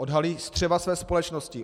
Odhalí střeva své společnosti.